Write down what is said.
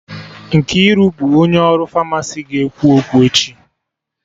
Nkiru bụ onye ọrụ Famasi ga-ekwu okwu echi